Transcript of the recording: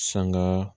Sanga